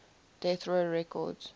death row records